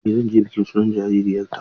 Eh zan je bikin sunan jaririyarta.